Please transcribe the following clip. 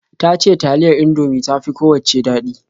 Ta ce taliyar Indomie ta fi kowacce daɗi.